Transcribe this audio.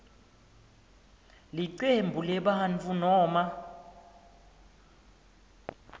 licembu lebantfu noma